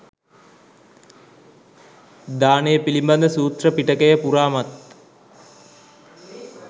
දානය පිළිබඳ සූත්‍ර පිටකය පුරාමත්